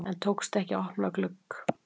En tókst ekki að opna glugg